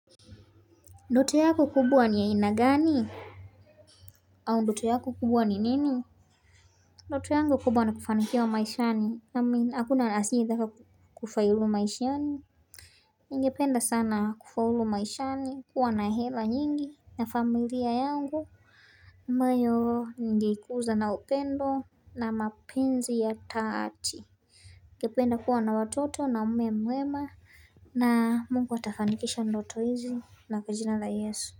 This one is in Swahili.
Ndoto yako kubwa ni ya aina gani au ndoto yako kubwa ni nini ndoto yangu kubwa na kufanikiwa maishani naamini akuna asiyida kufaulu maishani ningependa sana kufaulu maishani kuwa na hela nyingi na familia yangu ambayo ningeikuza na upendo na mapenzi ya taati ingependa kuwa na watoto na mume mwema na mungu atafanikisha ndoto hizi na kajina la yesu.